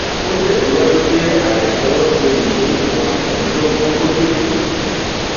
ó tẹsíwájú pé aya ni wọn ti yìn ín níbọn èyí ló mú kó tètè kú